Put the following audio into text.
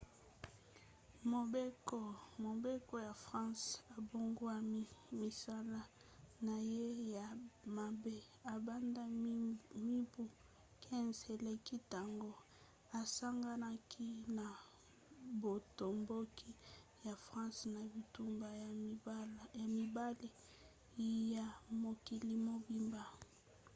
mobeko ya france ebongwani. misala na ye ya mabe ebanda mibu 15 eleki ntango asanganaki na botomboki ya france na bitumba ya mibale ya mokili mobimba